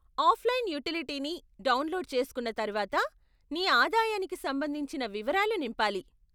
Offline utility ని download చేస్కున్న తర్వాత, నీ ఆదాయానికి సంబంధించిన వివరాలు నింపాలి.